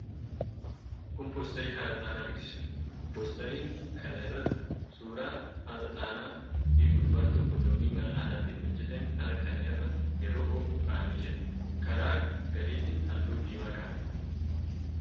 Kun poosterii hara Xaanaa beeksisuudha. Poosterii kana irra suuraa hara Xaanaa fi gurbaan tokko doonii mala aadaatiin hojjetame hara kana irra yeroo oofu kaa'amee jira. Karaa gadiitiin halluu diimaa qaba.